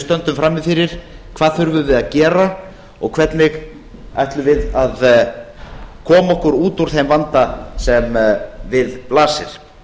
stöndum frammi fyrir hvað þurfum við að gera og hvernig ætlum við að koma okkur út úr þeim vanda sem við blasir